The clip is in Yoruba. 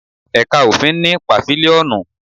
Ẹ̀ka òfin ní Pàfílíọ́nù